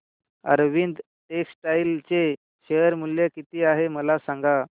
Arvind textile चे share मूल्य किती आहे मला सांगा